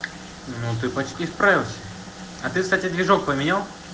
ну ты почти справился а ты кстати движок поменял